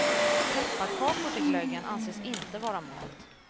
Pepparkakor till glöggen anses inte vara mat.